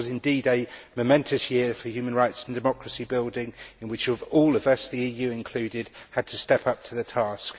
This was indeed a momentous year for human rights and democracy building in which we have all the EU included had to step up to the task.